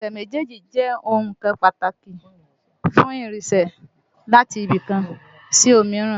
Ẹsẹ̀ méjèèjì jẹ́ ọ̀kan pàtàkì fún ìrìnsẹ̀ láti ibì kan sí òmíràn